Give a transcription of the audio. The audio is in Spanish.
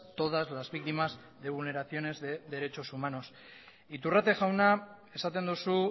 todas las víctimas de vulneraciones de derechos humanos iturrate jauna esaten duzu